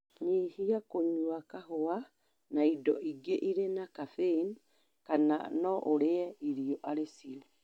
Nyihia kũnyua kahũa na indo ingĩ irĩ na kabeinĩ kana no ũrie irio arĩ cio.